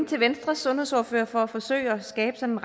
til venstres sundhedsordfører for at forsøge at skabe sådan